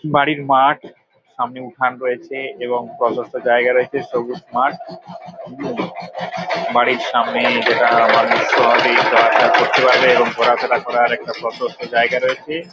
বাড়ির মাঠ সামনে উঠান রয়েছে এবং প্রসস্থ জায়গা রয়েছে। সবুজ মাঠ হু্‌ বাড়ির সামনে যারা মানুষ চলাফেরা ঘোরাফেরা করার অরেকটা প্রসস্থ জায়গা রয়েছে।